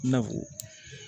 I na fɔ